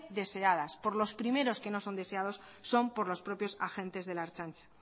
deseadas por los primeros que no son deseados son por los propios agentes de la ertzaintza